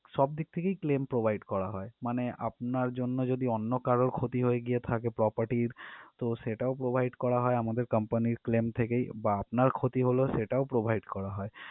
সব দিক থেকেই claim provide করা হয় মানে আপনার জন্য যদি অন্য কারও ক্ষতি হয়ে গিয়ে থাকে property ইর তো সেটাও provide করা হয় আমাদের company র claim থেকেই বা আপনার ক্ষতি হলো সেটাও provide করা হয়